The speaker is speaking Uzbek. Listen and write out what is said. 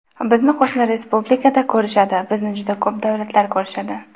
Bizni qo‘shni respublikada ko‘rishadi, bizni juda ko‘p davlatlar ko‘rishadi.